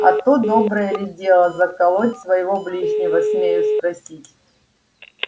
а то доброе ли дело заколоть своего ближнего смею спросить